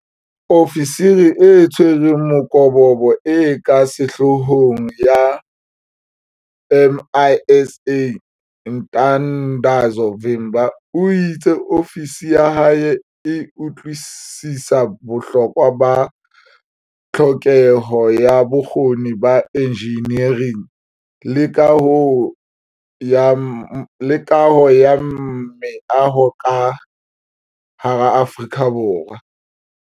Ofisiri e Tshwereng Mokobobo e ka Sehloohong ya MISA Ntandazo Vimba o itse ofisi ya hae e utlwisisa bohlokwa ba tlhokeho ya bokgoni ba enjinering le kaho ya meaho ka hara Aforika Borwa.